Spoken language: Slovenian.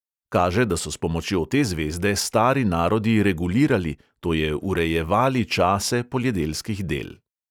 Kaže, da so s pomočjo te zvezde stari narodi regulirali, to je urejevali čase poljedelskih del.